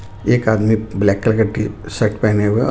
एक आदमी black colour का शर्ट पहने हुए है.